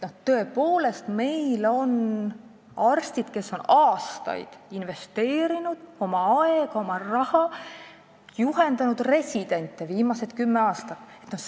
Tõepoolest, meil on arstid, kes on aastaid investeerinud oma aega ja oma raha ning juhendanud viimased kümme aastat residente.